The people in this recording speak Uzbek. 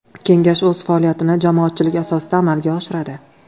Kengash o‘z faoliyatini jamoatchilik asosida amalga oshiradi.